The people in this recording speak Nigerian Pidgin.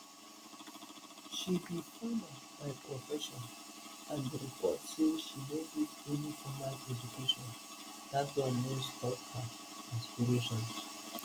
she be farmer by profession and reports say she no get any formal education but dat one no stop her aspirations